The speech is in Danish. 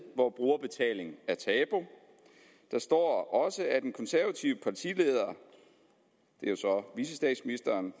hvor brugerbetaling er tabu der står også at den konservative partileder det er jo så vicestatsministeren